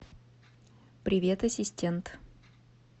привет ассистент